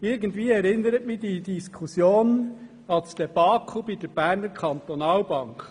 Irgendwie erinnert mich diese Geschichte an das Debakel der Bernischen Kantonalbank.